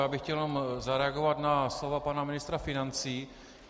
Já bych chtěl jenom zareagovat na slova pana ministra financí.